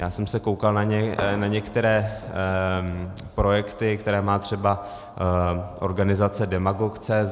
Já jsem se koukal na některé projekty, které má třeba organizace Demagog.cz.